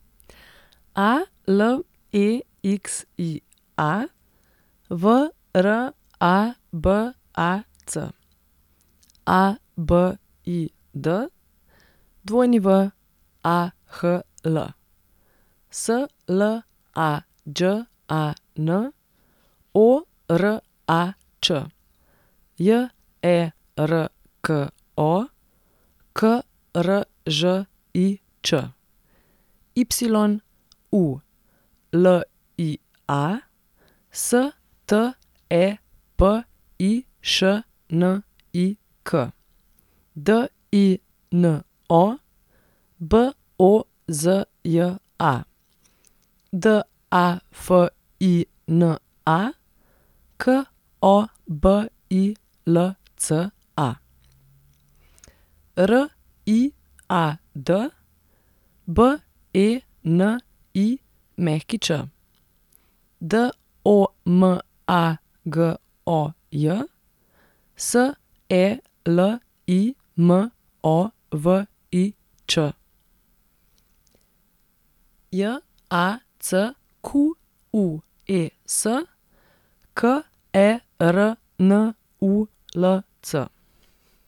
A L E X I A, V R A B A C; A B I D, W A H L; S L A Đ A N, O R A Č; J E R K O, K R Ž I Č; Y U L I A, S T E P I Š N I K; D I N O, B O Z J A; D A F I N A, K O B I L C A; R I A D, B E N I Ć; D O M A G O J, S E L I M O V I Č; J A C Q U E S, K E R N U L C.